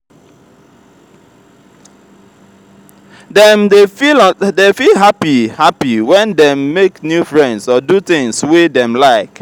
dem dey feel happy happy when dem make new friends or do things wey dem like